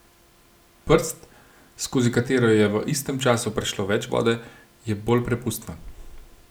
Prst, skozi katero je v istem času prešlo več vode, je bolj prepustna.